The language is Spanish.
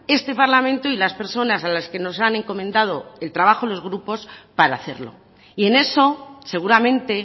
este parlamento y las personas a las que nos han encomendado el trabajo y los grupos para hacerlo y en eso seguramente